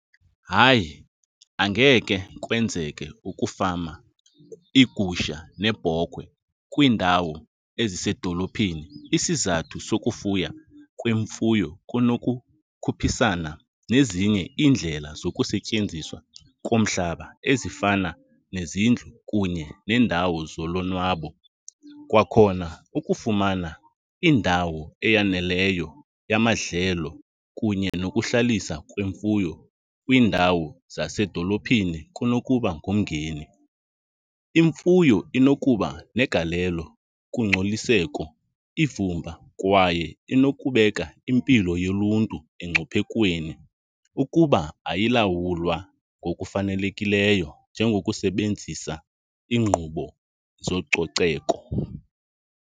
Hayi, angeke kwenzeke ukufama iigusha neebhokhwe kwiindawo ezisedolophini. Isizathu sokufuya kwemfuyo kunokukhuphisana nezinye iindlela zokusetyenziswa komhlaba ezifana nezindlu kunye neendawo zolonwabo. Kwakhona ukufumana indawo eyaneleyo yamadlelo kunye nokuhlalisa kwemfuyo kwiindawo zasedolophini kunokuba ngumngeni. Imfuyo inokuba negalelo kungcoliseko, ivumba kwaye inokubeka impilo yoluntu engciphekweni ukuba ayilawulwa ngokufanelekileyo, njengokusebenzisa iinkqubo zococeko.